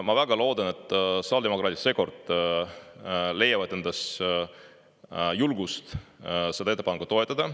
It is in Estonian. Ma väga loodan, et sotsiaaldemokraadid seekord leiavad endas julgust seda ettepanekut toetada.